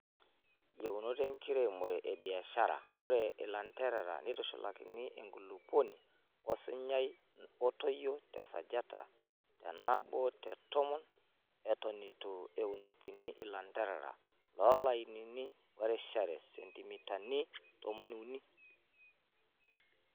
Yieuto enkiremore e biasahra :Ore ilanterera neitushulakini enkulupuoni osinyai natoyio tesajata enabo te tomon eton etu eunokini ilanterera too lainini orishare sentimitani tomoni uni.